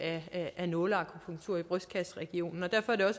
af nåleakupunktur i brystkasseregionen derfor er